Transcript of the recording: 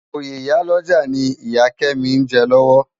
Óyé iyá lòjá ni Iyá Kemi n jè lòwò